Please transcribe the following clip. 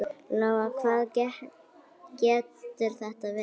Lóa: Hvað getur þetta verið?